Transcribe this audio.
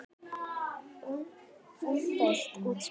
Umdeilt útspil.